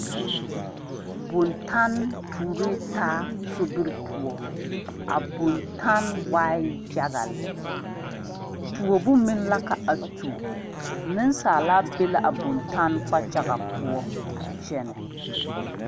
Bontanne tuori taa sobiri poɔ bontanne waa yaga lɛ tuobu meŋ la ka a tuo nensaala be la a bontanne kpakyaga poɔ a kyɛnɛ.